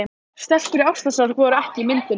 Stelpur í ástarsorg voru ekki inni í myndinni.